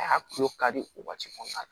A y'a kulo kari o waati kɔnɔna na